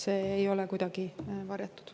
See ei ole kuidagi varjatud.